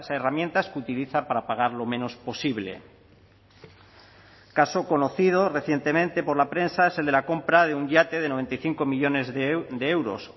herramientas que utiliza para pagar lo menos posible caso conocido recientemente por la prensa es el de la compra de un yate de noventa y cinco millónes de euros